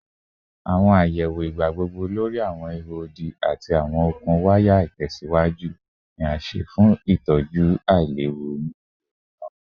Awọn sọwedowo igbagbogbo lori awọn iho odi ati awọn okun waya itẹsiwaju ni a ṣe fun itọju ailewu ni iyẹwu naa